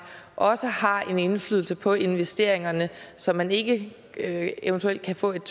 også har en indflydelse på investeringerne så man ikke eventuelt kan få et